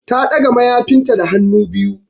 Ta ɗaga mayafinta da hannu biyu.